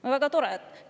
No väga tore!